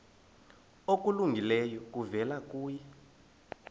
okulungileyo kuvela kuye